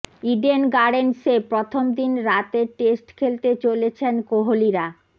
Eden গার্ডেন্সে প্রথম দিন রাতের টেস্ট খেলতে চলেছেন কোহলিরা